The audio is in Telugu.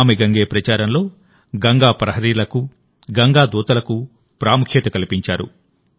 నమామి గంగే ప్రచారంలో గంగా ప్రహరీలకు గంగా దూతలకు ప్రాముఖ్యత కల్పించారు